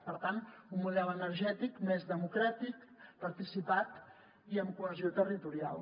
per tant un model energètic més democràtic participat i amb cohesió territorial